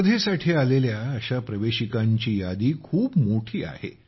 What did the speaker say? स्पर्धेत आलेल्या अशा प्रवेशिकांची यादी खूप मोठी आहे